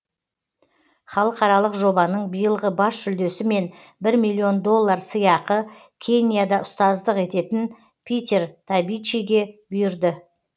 халықаралық жобаның биылғы бас жүлдесі мен бір миллион доллар сыйақы кенияда ұстаздық ететін питер табичиге бұйырды